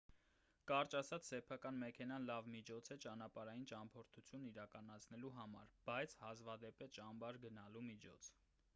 կարճ ասած սեփական մեքենան լավ միջոց է ճանապարհային ճամփորդություն իրականացնելու համար բայց հազվադեպ է ճամբար գնալու միջոց